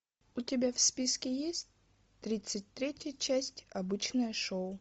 у тебя в списке есть тридцать третья часть обычное шоу